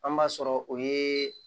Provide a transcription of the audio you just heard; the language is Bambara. An b'a sɔrɔ o ye